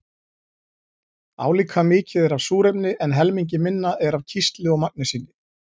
Álíka mikið er af súrefni en helmingi minna er af kísli og magnesíni.